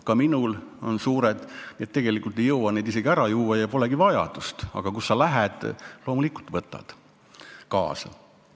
Ka minul on nii suured, et tegelikult ei jõua isegi kõike ära juua ja polegi vajadust, aga kui sa juba lähed, siis loomulikult võtad kaasa.